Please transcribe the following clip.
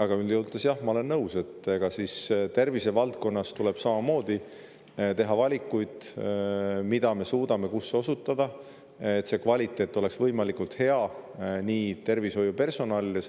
Aga üldjoontes jah, ma olen nõus, et tervisevaldkonnas tuleb samamoodi teha valikuid, me suudame kus osutada, et kvaliteet oleks võimalikult hea, et nii tervishoiupersonalil,